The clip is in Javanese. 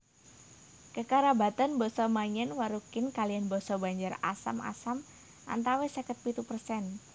Kekerabatan basa Maanyan Warukin kaliyan basa Banjar Asam Asam antawis seket pitu persen